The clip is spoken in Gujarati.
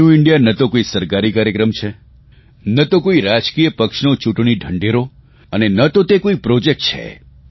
ન્યૂ ઇન્ડિયા ન તો કોઇ સરકારી કાર્યક્રમ છે ન તો કોઇ રાજકીય પક્ષનો ચૂંટણી ઢંઢેરો અને ન તો કોઇ પ્રોજેક્ટ છે